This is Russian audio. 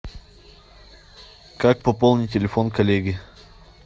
как пополнить телефон коллеги